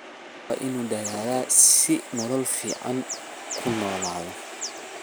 Qofku waa inu dadhala si uu nolol ficn kunoladho.